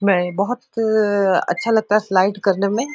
मैं बहुत अच्छा लगता है स्लाईड करने में।